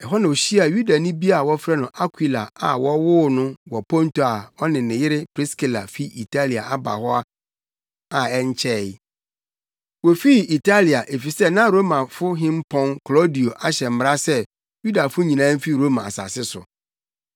Ɛhɔ na ohyiaa Yudani bi a wɔfrɛ no Akwila a wɔwoo no wɔ Ponto a ɔne ne yere Priskila fi Italia aba hɔ a na ɛnkyɛe. Wofii Italia efisɛ na Roma hempɔn Klaudio ahyɛ mmara se Yudafo nyinaa mfi Roma asase so.